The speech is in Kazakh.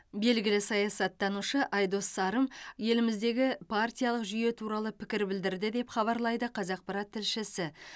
белгілі саясаттанушы айдос сарым еліміздегі партиялық жүйе туралы пікір білдірді деп хабарлайды қазақпарат тілшісі